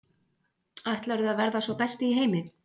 Ætlarðu að verða sá besti í heimi?